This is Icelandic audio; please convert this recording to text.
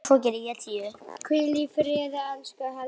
Hvíl í friði, elsku Helga.